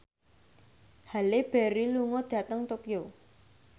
Halle Berry lunga dhateng Tokyo